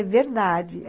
É verdade.